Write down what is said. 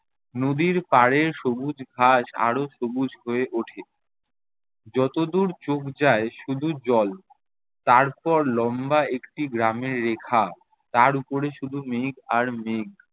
নদীর পাড়ে সবুজ ঘাস আরও সবুজ হয়ে ওঠে। যতদূর চোখ যায় শুধু জল, তারপর লম্বা একটি গ্রামের রেখা, তার ওপরে শুধু মেঘ আর মেঘ।